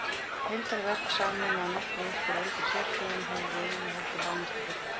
Heildarverk, samin að nokkru upp úr eldri sérsögum, höfðu eigi heldur lánast að fullu.